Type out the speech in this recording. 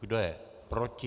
Kdo je proti?